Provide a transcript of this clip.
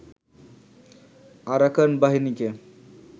Arakan বাহিনীকে